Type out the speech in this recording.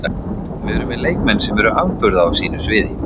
Við erum með leikmenn sem eru afburða á sínu sviði